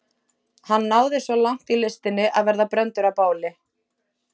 Hann náði svo langt í listinni að verða brenndur á báli.